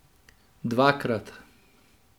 Dvakrat.